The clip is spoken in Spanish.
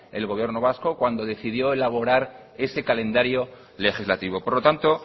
el gobierno vasco cuando decidió elaborar ese calendario legislativo por lo tanto